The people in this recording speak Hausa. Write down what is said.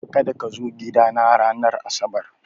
Kada kazo gidana ranar asabar!